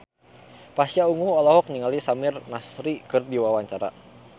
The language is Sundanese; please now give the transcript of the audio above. Pasha Ungu olohok ningali Samir Nasri keur diwawancara